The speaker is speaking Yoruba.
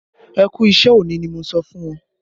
Ẹ kú iṣẹ òní ni mo sọ fún wọn